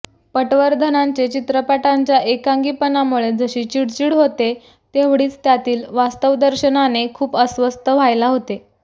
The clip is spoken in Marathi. पटवर्धनांचे चित्रपटांच्या एकांगीपणामुळे जशी चिडचिड होते तेवढीच त्यातील वास्तवदर्शनाने खूप अस्वस्थ व्हायला होते